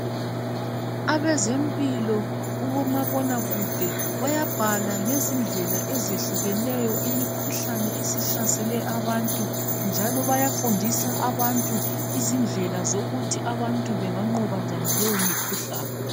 Abazempilo kubomabonakude bayabhala ngezindlela ezehlukeneyo imikhuhlane esihlasele abantu njalo bayafundisa abantu izindlela zokuthi abantu benganqoba njani leyo mikhuhlane